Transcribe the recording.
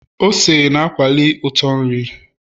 ose na akwali uto na nri